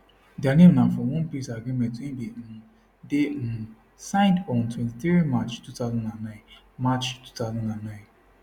dia name na from one peace agreement wey bin um dey um signed on 23 march 2009 march 2009